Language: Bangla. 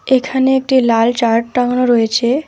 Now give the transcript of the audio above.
এখানে একটি লাল চার্ট টাঙানো রয়েছে।